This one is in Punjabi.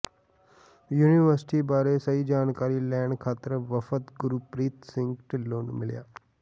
ਯੂਨੀਵਰਸਿਟੀ ਬਾਰੇ ਸਹੀ ਜਾਣਕਾਰੀ ਲੈਣ ਖਾਤਰ ਵਫਦ ਗੁਰਪ੍ਰੀਤ ਸਿੰਘ ਢਿੱਲੋਂ ਨੂੰ ਮਿਲਿਆ